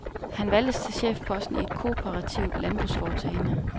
Han valgtes til chefposten i et kooperativt landbrugsforetagende.